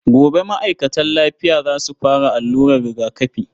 Gobe ma'aikatan lafiya za su fara allurar rigakafi.